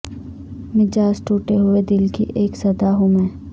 مجاز ٹوٹے ہوئے دل کی اک صدا ہوں میں